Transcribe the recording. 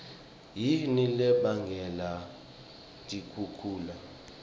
yini lebangela tikhukhula